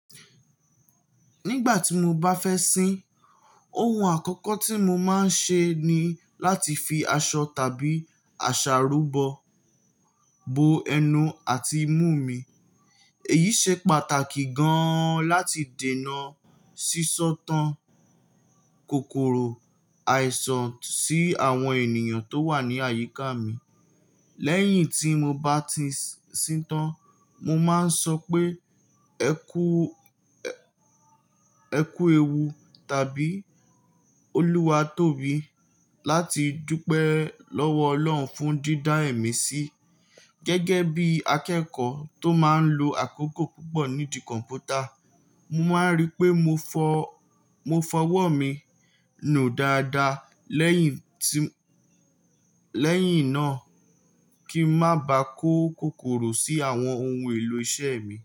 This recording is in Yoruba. Nígbà tí mo bá fẹ́ sín, ohun àkọ́kọ́ tí mo máa ń ṣe ni láti fi aṣọ tàbí àṣàrúbọ. Bo ẹnu àti imú mi. Èyí ṣe pàtàkì gan-an láti dènà sísọ tán kòkòrò àìsàn sí àwọn ènìyàn tó wà ní àyíká mi. Lẹ́yìn tí mo bá ti sín tán, mo máa ń sọ pé "ẹ kú ẹ, ẹ kú ewu" tàbí "Olúwa tóbi" láti dúpẹ́ lọ́wọ́ Ọlọ́run fún dídá èmi sí. Gẹ́gẹ́ bí akẹ́kọ̀ọ́ tó máa ń lo àkókò púpọ̀ nídìí kọ̀mpútà, mo máa ń rí i pé mo fọ̀, mo fọwọ́ mi nù dáadáa lẹ́yìn tí, lẹ́yìn náà kí n má bàá kó kòkòrò sí àwọn ohun èlò iṣẹ́ mi.